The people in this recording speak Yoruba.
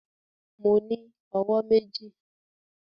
Mo ní owó méjì